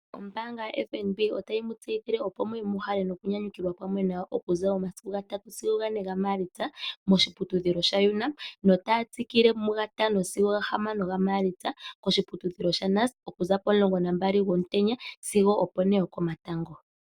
Ombaanga yaFNB otayi mu tseyithile opo muuye muuhale nokunyanyukilwa pamwe nayo okuza omasiku gatano sigo gane gaMaalitsa moshiputudhilo sha Unam, notaya tsikile mu gatano sigo gahamano gaMaalitsa koshiputudhilo sha Nust, okuza pomulongo nambali gwomutenya sigo opo ne yokomatango.